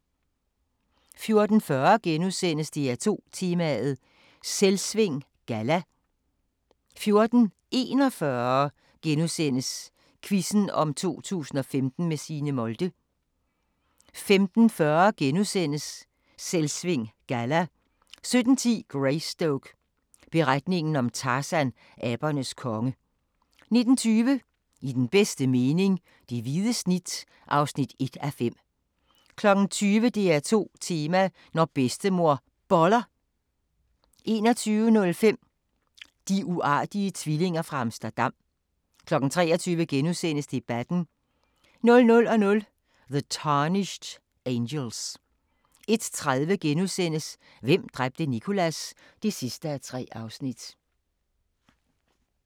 14:40: DR2 Tema: Selvsving Galla * 14:41: Quizzen om 2015 med Signe Molde * 15:40: Selvsving Galla * 17:10: Greystoke – beretningen om Tarzan, abernes konge 19:20: I den bedste mening - det hvide snit (1:5) 20:00: DR2 Tema: Når Bedstemor Boller 21:05: De uartige tvillinger fra Amsterdam 23:00: Debatten * 00:00: The Tarnished Angels 01:30: Hvem dræbte Nicholas? (3:3)*